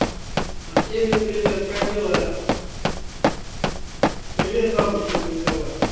артемий привет как дела привет бабушке передавай